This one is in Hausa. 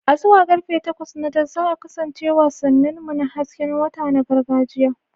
Zuwa karfe takwas na dare za a kasance wasannin mu na hasken wata na gargajiya.